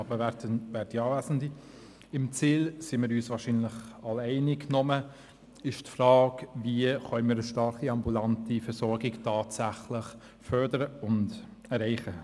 Was das Ziel betrifft, sind wir uns wahrscheinlich alle einig, aber es stellt sich die Frage, wie wir eine starke ambulante Versorgung tatsächlich erreichen können.